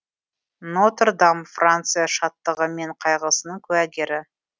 нотр дам франция шаттығы мен қайғысының куәгері